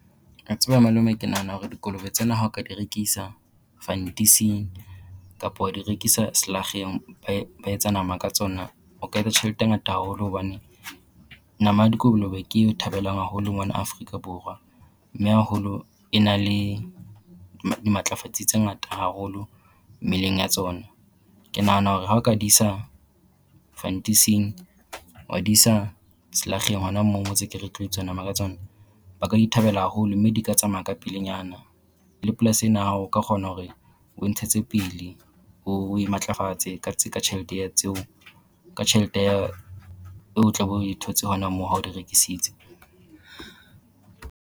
A tseba malome ke nahana hore malome dikolobe tsena ha o ka di rekisa fantising kapo wa di rekisa selakgeng ba etsa nama ka tsona o ka etsa tjhelete e ngata haholo, hobane nama ya dikolobe ke e thabelwang haholo mona Afrika Borwa. Mme haholo e na le dimatlafatsi tse ngata haholo mmeleng ya tsona. Ke nahana hore ha o ka di isa fantising wa di isa selakgeng hona mo mo ntse ke re ho tlo etswa nama ka tsona, ba ka di thabela haholo mme di ka tsamaya ka pelenyana. Le polasi ena ya hao o ka kgona hore o e ntshetse pele ho o e matlafatse ka tjhelete ya tseo ka tjhelete ya e o tla be o e thotse hona moo ha o di rekisitse.